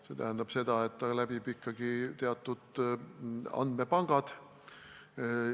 See tähendab seda, et taotlus läbib ikkagi teatud andmepangad.